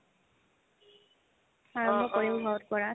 আৰম্ভ কৰিম ঘৰত কৰাত